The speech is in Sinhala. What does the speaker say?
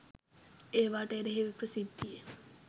ඒවාට එරෙහිව ප්‍රසිද්ධියේ